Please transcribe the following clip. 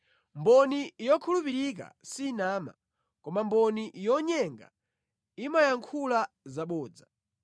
Mboni yokhulupirika sinama, koma mboni yonyenga imayankhula zabodza.